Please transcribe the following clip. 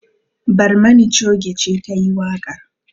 Barmani choge ce ta yi waƙar.